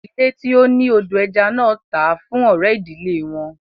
Ìdílé tí ó ni odò ẹja náà tà á fún ọ̀rẹ́ ìdílé wọn